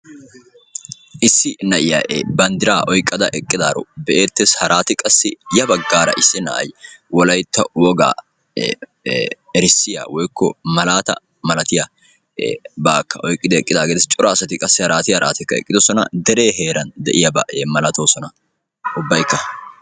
Issi na'iyaa banddiraa oyqqada eqqidaaro be'eettees. haraatikka qa issi na'ay wolaytta wogaa erissiyaa woykko malaata malatiyaabakka oyqqidaagee de'ees. cora asati qassi harati harati de'oosona. deree heeran de'iyaaba malatoosona ubbayikka.